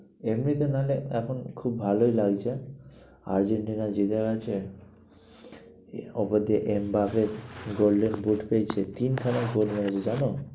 এমনিতে না হলে এখন খুব ভালোই লাগছে। আর্জেন্টিনা জিতে গেছে। ওপর দিয়ে এমবাপে golden boot পেয়েছে। তিনখানা goal মেরেছে জানো?